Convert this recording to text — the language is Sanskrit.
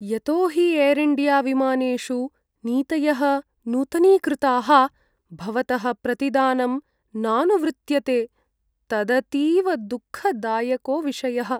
यतो हि एर् इण्डियाविमानेषु नीतयः नूतनीकृताः, भवतः प्रतिदानम् नानुवृत्यते, तदतीव दुःखदायको विषयः।